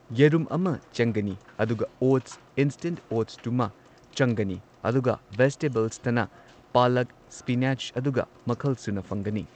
ꯌꯦꯔꯨꯝ ꯑꯃ ꯆꯪꯒꯅꯤ ꯑꯗꯨꯒ ꯑꯣꯠꯁ ꯏꯟꯁ꯭ꯇꯦꯟꯠ ꯑꯣꯠꯁꯇꯨꯃ ꯆꯪꯒꯅꯤ ꯑꯗꯨꯒ ꯕꯦꯖꯤꯇꯦꯕꯜꯁꯇꯅ ꯄꯥꯜꯂꯛ ꯁ꯭ꯄꯤꯅꯥꯆ ꯑꯗꯨꯒ ꯃꯈꯜꯁꯨꯅ ꯐꯪꯒꯅꯤ ꯫